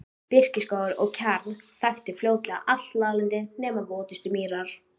Birkiskógur og kjarr þakti fljótlega allt láglendi nema votustu mýrar.